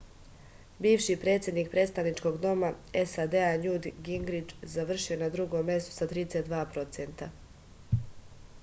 biviši predsednik predstavničkog doma sad njut gingrič završio je na drugom mestu sa 32 procenta